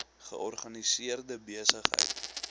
georganiseerde besig heid